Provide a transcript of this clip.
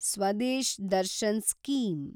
Swadesh Darshan scheme